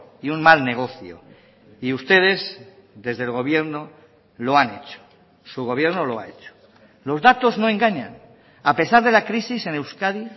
y un mal negocio y ustedes desde el gobierno lo han hecho su gobierno lo ha hecho los datos no engañan a pesar de la crisis en euskadi